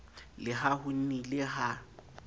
le ha ho nnile ha